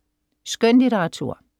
Skønlitteratur